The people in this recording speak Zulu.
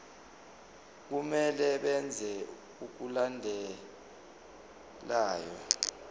kumele benze okulandelayo